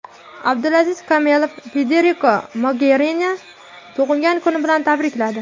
Abdulaziz Komilov Federika Mogerinini tug‘ilgan kuni bilan tabrikladi.